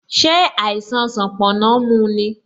Ṣé àìsàn sanponna mu ni?